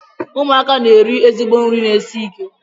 Ụmụaka na-eri ezigbo nri na-esi ike.